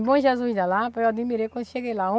Em Bom Jesus da Lapa, eu admirei quando cheguei lá.